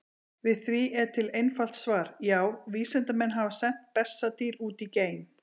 Við því er til einfalt svar: Já, vísindamenn hafa sent bessadýr út í geim!